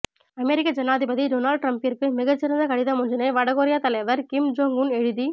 அமெரிக்க ஜனாதிபதி டொனால்ட் ட்ரம்பிற்கு மிகச்சிறந்த கடிதமொன்றினை வடகொரியத் தலைவர் கிம் ஜொங் உன் எழுதி